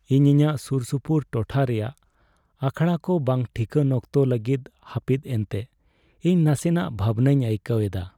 ᱤᱧ ᱤᱧᱟᱹᱜ ᱥᱩᱨᱥᱩᱯᱩᱨ ᱴᱚᱴᱷᱟ ᱨᱮᱭᱟᱜ ᱟᱠᱷᱲᱟ ᱠᱚ ᱵᱟᱝ ᱴᱷᱤᱠᱟᱹᱱ ᱚᱠᱛᱚ ᱞᱟᱹᱜᱤᱫ ᱦᱟᱹᱯᱤᱫ ᱮᱱᱛᱮ ᱤᱧ ᱱᱟᱥᱮᱱᱟᱜ ᱵᱷᱟᱵᱽᱱᱟᱧ ᱟᱹᱭᱠᱟᱹᱣ ᱮᱫᱟ ᱾